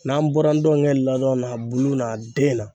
N'an bɔra ndow kɛ ladon na a bulu n'a den na.